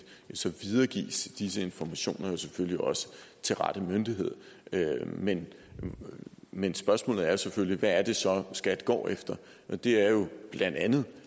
videregives disse informationer selvfølgelig også til rette myndighed men men spørgsmålet er selvfølgelig hvad det så er skat går efter det er jo blandt andet